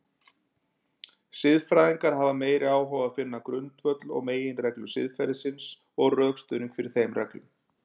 Siðfræðingar hafa meiri áhuga á finna grundvöll og meginreglur siðferðisins og rökstuðning fyrir þeim reglum.